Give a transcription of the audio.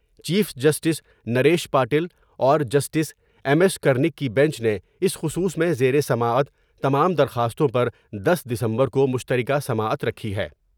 Chief justice Naresh Patil اور justice M S Karni کی bench نے اس خصوص میں زیر سماعت تمام درخواستوں پر دس دسمبر کومشتر کہ سماعت رکھی ہے ۔